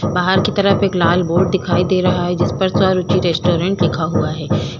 बाहर की तरफ एक लाल बोर्ड दिखाई दे रहा है जिस पर स्वरूचि रेस्टोरेंट लिखा हुआ है।